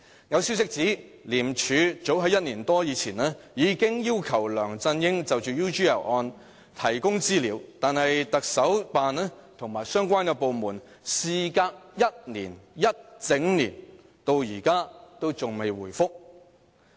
有消息指，廉署早於1年多前已要求梁振英就 UGL 案提供資料，但香港特別行政區行政長官辦公室及相關部門事隔1整年，至今仍未回覆。